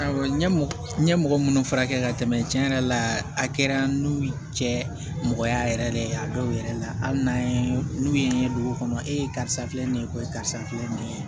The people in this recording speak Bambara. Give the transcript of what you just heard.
Awɔ n ye n ye mɔgɔ minnu furakɛ ka tɛmɛ cɛn yɛrɛ la a kɛra n'u ye cɛ mɔgɔya yɛrɛ de ye a dɔw yɛrɛ la hali n'an ye n'u ye n ye dugu kɔnɔ e ye karisa filɛ nin ye ko ye karisa filɛ nin ye